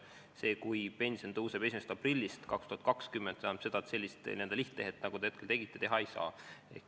See, kui pension tõuseb 1. aprillist 2020, tähendab seda, et sellist lihttehet, nagu te hetkel tegite, teha ei saa.